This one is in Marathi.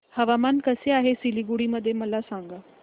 हवामान कसे आहे सिलीगुडी मध्ये मला सांगा